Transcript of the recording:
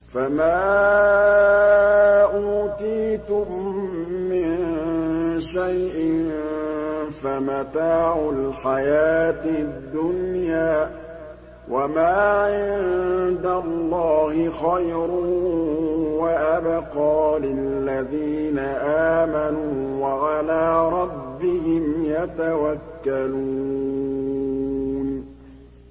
فَمَا أُوتِيتُم مِّن شَيْءٍ فَمَتَاعُ الْحَيَاةِ الدُّنْيَا ۖ وَمَا عِندَ اللَّهِ خَيْرٌ وَأَبْقَىٰ لِلَّذِينَ آمَنُوا وَعَلَىٰ رَبِّهِمْ يَتَوَكَّلُونَ